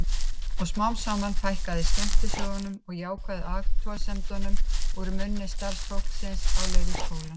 Og smám saman fækkaði skemmtisögunum og jákvæðu athugasemdunum úr munni starfsfólksins á leikskólanum.